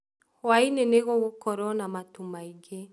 Hwainĩ nĩgũgũkorwo na matu maingĩ